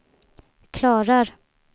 klarar